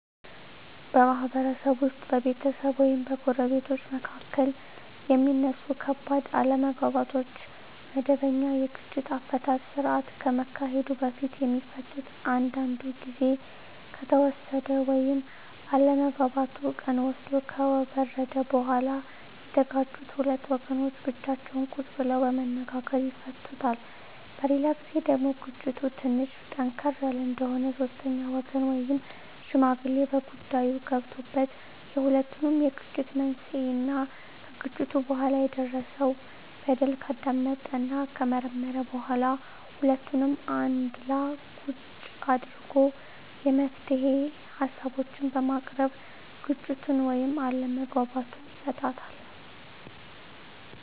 በማህበረሰብ ውስጥ በቤተሰብ ወይም በጎረቤቶች መካከል የሚነሱ ከባድ አለመግባባቶች ወደመበኛ የግጭት አፈታት ስርአት ከመሄዱ በፊት የሚፈቱት አንዳንዱ ግዜ ከተወሰደ ወይም አለመግባባቱ ቀን ወስዶ ከበረደ በኋላ የተጋጩት ሁለት ወገኖች ብቻቸውን ቁጭ ብለው በመነጋገር ይፈቱታል። በሌላ ግዜ ደግሞ ግጭቱ ትንሽ ጠንከር ያለ እንደሆነ ሶስተኛ ወገን ወይም ሽማግሌ በጉዳይዮ ገብቶበት የሁለቱንም የግጭት መንሴና ከግጭቱ በኋላ የደረሰው በደል ካዳመጠና ከመረመረ በኋላ ሁለቱንም አንድላ ቁጭ አድርጎ የመፍትሄ ሀሳቦችን በማቅረብ ግጭቱን ወይም አለመግባባቱን ይፈታል።